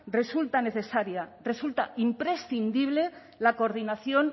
resulta necesaria resulta imprescindible la coordinación